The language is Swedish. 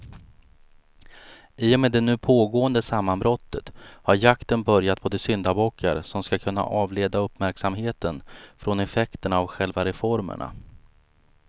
I och med det nu pågående sammanbrottet har jakten börjat på de syndabockar som ska kunna avleda uppmärksamheten från effekterna av själva reformerna.